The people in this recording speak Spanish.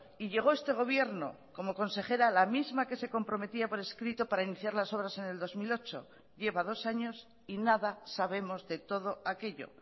y llegó este gobierno como consejera la misma que se comprometía por escrito para iniciar las obras en el dos mil ocho lleva dos años y nada sabemos de todo aquello